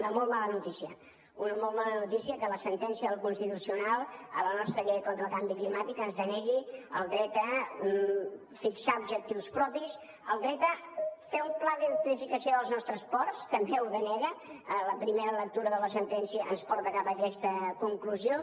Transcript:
una molt mala notícia una molt mala notícia que la sentència del constitucional a la nostra llei contra el canvi climàtic ens denegui el dret a fixar objectius propis el dret a fer un pla d’electrificació dels nostres ports també ho denega la primera lectura de la sentència ens porta cap a aquesta conclusió